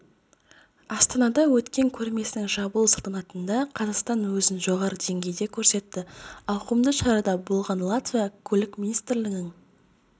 астанада өткен көрмесінің жабылу салтанатында қазақстан өзін жоғары деңгейде көрсетті ауқымды шарада болған латвия көлік министрлігінің